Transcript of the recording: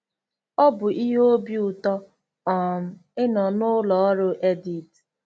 Ọ bụ ihe obi ụtọ um ịnọ na ụlọ ọrụ Edith.